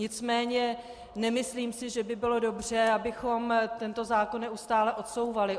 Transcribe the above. Nicméně nemyslím si, že by bylo dobře, abychom tento zákon neustále odsouvali.